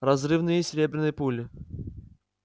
разрывные серебряные пули